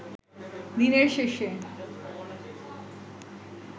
দিনের শেষে